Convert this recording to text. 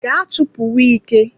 Gaa chụpụ wike!